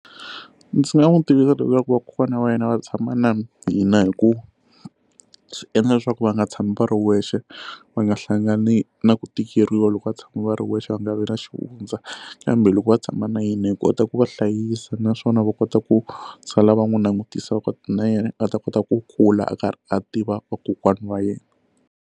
Ndzi nga n'wi tivisa leswaku vakokwana wa yena va tshama na hina hikuva swi endla leswaku va nga tshami va ri wexe va nga hlangani na ku tikeriwa loko va tshama va ri wexe va nga vi na xivundza kambe loko va tshama na hina hi kota ku va hlayisa naswona va kota ku sala va n'wi langutisa va kota na yena a ta kota ku kula a karhi a tiva vakokwana wa yena.